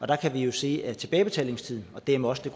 der kan vi jo se at tilbagebetalingstiden og dermed også